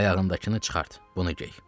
Ayağındakını çıxart, bunu gey.